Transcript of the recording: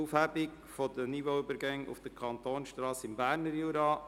«Aufhebung der Niveauübergänge auf den Kantonsstrassen im Berner Jura».